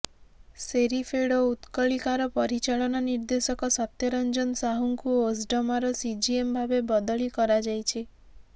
ସେରିଫେଡ୍ ଓ ଉତ୍କଳିକାର ପରିଚାଳନା ନିର୍ଦ୍ଦେଶକ ସତ୍ୟରଞ୍ଜନ ସାହୁଙ୍କୁ ଓସ୍ଡମାର ସିଜିଏମ୍ ଭାବେ ବଦଳି କରାଯାଇଛି